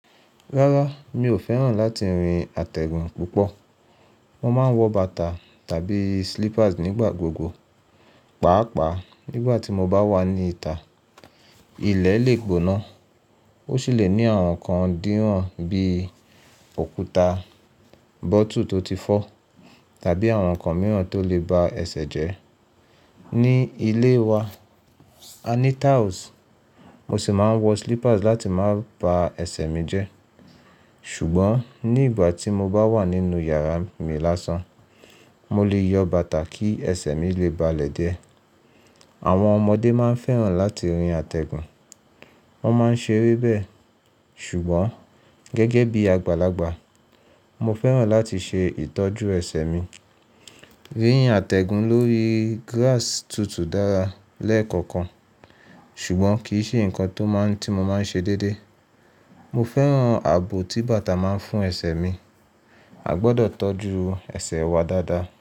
Rárá, mi ò fẹ́ràn láti rin àtẹ̀gùn púpọ̀. Mo máa ń wọ bàtà tàbí slippers nígbà gbogbo, pàápàá nígbà tí mo bá wà ní ìta. Ilẹ̀ lè gbóná, ó sì lè ní àwọn nǹkan dín ran bíi òkúta, bottle tó ti fọ́ tàbí àwọn nǹkan mìíràn tó lè ba ẹsẹ̀ jẹ́. Ni ilé wa, a ní tiles, mo sì máa ń wọ slippers láti má ba ẹsẹ̀ mi jẹ́. Ṣùgbọ́n ní igbà ti mo bá wà nínú yàrá mi lásán, mo lè yọ bàtà kí ẹsẹ̀ mi lè balẹ̀ díẹ̀. Àwọn ọmọdé máa ń fẹ́ràn láti rin àtẹ̀gùn, wọ́n máa ń ṣe eré bẹ́ẹ̀. Ṣùgbọ́n gẹ́gẹ́ bí àgbàlagbà, mo fẹ́ràn láti ṣe ìtọ́jú ẹsẹ̀ mi. Rín àtẹ̀gùn lórí grass tutù dára lẹ́ẹ̀kọ̀kan, ṣùgbọ́n kì í ṣe nǹkan tó máa ń tí mo máa ń ṣe déédéé. Mo fẹ́ràn ààbò tí bàtà máa ń fún ẹsẹ̀ mi. A gbọdọ̀ tọ́jú ẹsẹ̀ wa dáadáa.